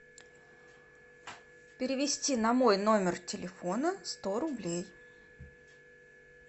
перевести на мой номер телефона сто рублей